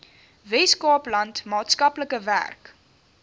weskaapland maatskaplike werk